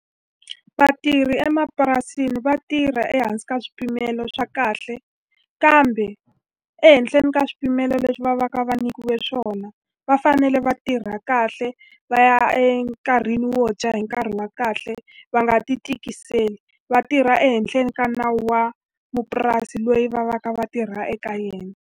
Vatirhi emapurasini va tirha ehansi ka swipimelo swa kahle, kambe ehenhla ni ka swipimelo leswi va va ka va nyikiwe swona va fanele va tirha ra kahle. Va ya enkarhini wo dya hi nkarhi wa kahle, va nga ti tikiseli, va tirha ehenhla ni ka nawu wa mupurasi loyi va va ka va tirha eka yena.